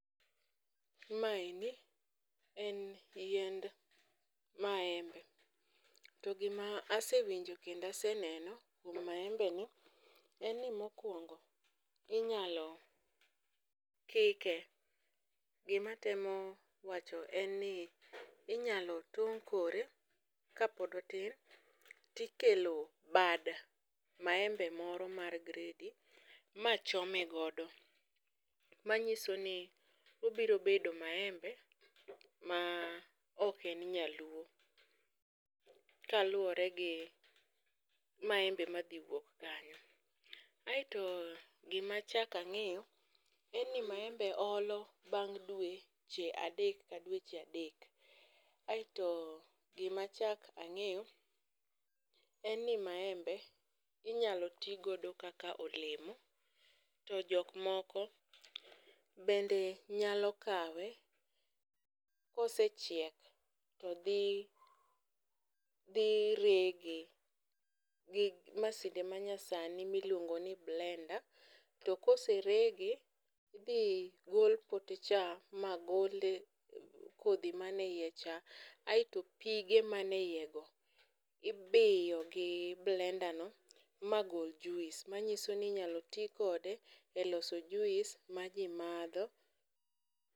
Maeni en yiend maembe, to gima asewinjo kendo aseneno e maembe no en ni mokwongo inyalo kike. Gima atemo wacho en ni inyalo tong' kore kapod otin tikelo bad maembe moro mar gredi ma chome godo, manyiso ni obiro bedo maembe ma ok en nyaluo, kaluwore gi maembe madhi wuok kanyo. Aeto gima chaka ng'iyo, en ni maembe olo bang' dweche adek ka dweche adek. Aeto gima achak ang'iyo en ni maembe inyalo ti godo kaka olemo, to jok moko bende nyalo kawe kosechiek todhi dhi rege. Gi masinde manyasani miluongo ni blender, to kose rege, tidhi gol pote cha ma gole kodhi mane iye cha. Aeto pige mane iye go ibiyo gi blender go ma gol juis, manyiso ni inyalo ti kode e loso juis ma ji madho.